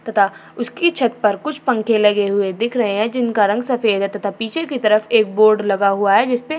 तथा उसकी छत पर कुछ पंखे लगे हुए दिख रहे हैं जिनका रंग सफ़ेद है तथा पीछे की तरफ़ एक बोर्ड लगा हुआ है जिसपे --